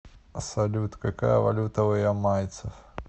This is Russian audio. салют какая валюта у ямайцев